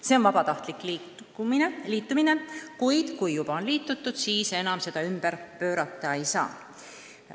See on vabatahtlik liitumine, kuid kui juba on liitutud, siis seda enam ümber pöörata ei saa.